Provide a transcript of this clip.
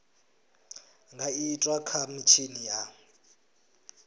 nga itwa kha mitshini ya